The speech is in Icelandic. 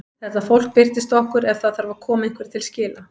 Þetta fólk birtist okkur ef það þarf að koma einhverju til skila.